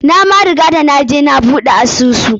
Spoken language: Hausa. Na ma riga da naje na buɗe asusu.